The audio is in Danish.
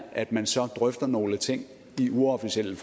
at man så drøfter nogle ting i uofficielle